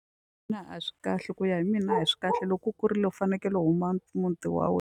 a swi kahle ku ya hi mina a swi kahle loko u kurile u fanekele u huma muti wa wena.